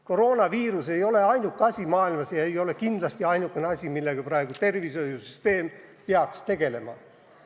Koroonaviirus ei ole ainuke häda maailmas ega ole kindlasti ainuke asi, millega praegu tervishoiusüsteem peaks tegelema.